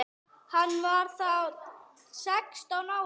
Hann var þá sextán ára.